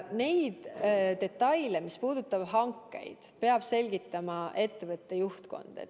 Neid detaile, mis puudutavad hankeid, peab selgitama ettevõtte juhtkond.